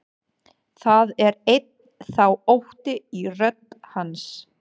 Það er enn þá ótti í rödd hans.